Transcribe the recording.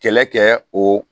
Kɛlɛ kɛ o